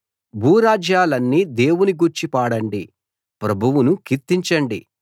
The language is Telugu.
భూరాజ్యాలన్నీ దేవుని గూర్చి పాడండి ప్రభువును కీర్తించండి